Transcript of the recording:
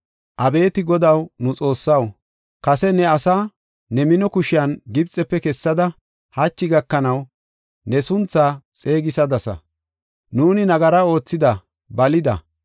“Abeeti Godaw, nu Xoossaw, kase ne asaa, ne mino kushiyan Gibxefe kessada, hachi gakanaw ne sunthaa xeegisadasa; nuuni nagara oothida; balida.